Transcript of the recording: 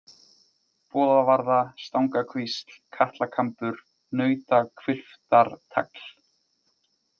Boðavarða, Stangakvísl, Katlakambur, Nautahvilftartagl